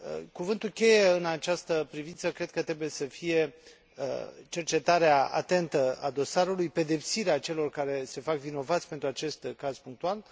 Cuvântul cheie în această privință cred că trebuie să fie cercetarea atentă a dosarului, pedepsirea celor care se fac vinovați pentru acest caz punctual.